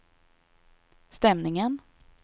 stämningen